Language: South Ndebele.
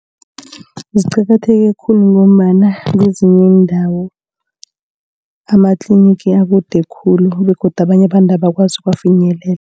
Ziqakatheke khulu ngombana kwezinye iindawo amatlinigi akude khulu begodu abanye abantu abakwazi ukuwafinyelela.